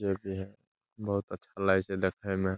भी है बहुत अच्छा लागे छै देखे में।